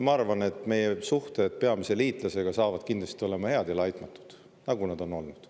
Ma arvan, et meie suhted peamise liitlasega saavad kindlasti olema head ja laitmatud, nagu nad on olnud.